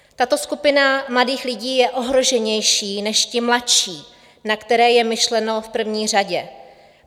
Tato skupina mladých lidí je ohroženější než ty mladší, na které je myšleno v první řadě.